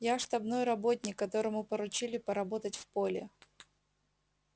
я штабной работник которому поручили поработать в поле